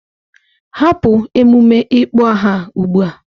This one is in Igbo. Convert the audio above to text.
Hapụ emume ịkpọ aha a ugbu a!